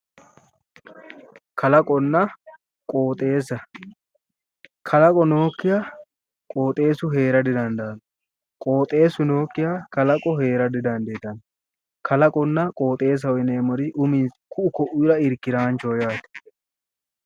Kalaqonna qoxxeessa ,kalaqo nookkiha qoxxeesu heera didandaano, qoxxeesu nookkiha kalaqu heera didandaano ,kalaqonna qoxxeessaho yinneemmohu ku'u koira irkiraanchoho yinne